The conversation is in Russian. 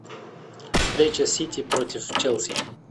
встреча сити против челси